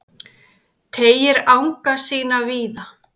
Teygir anga sína víða